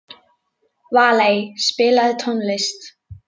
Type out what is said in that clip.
Valey, spilaðu tónlist.